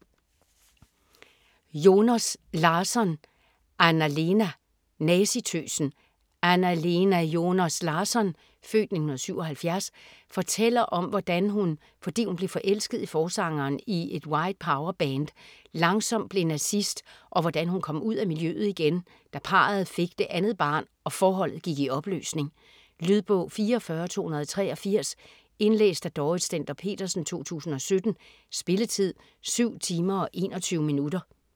Joners Larsson, Anna-Lena: Nazitøsen Anna-Lena Joners Larsson (f. 1977) fortæller om hvordan hun, fordi hun blev forelsket i forsangeren i et White Power-band, langsomt blev nazist, og hvordan hun kom ud af miljøet igen, da parret fik det andet barn og forholdet gik i opløsning. Lydbog 44283 Indlæst af Dorrit Stender-Petersen, 2017. Spilletid: 7 timer, 21 minutter.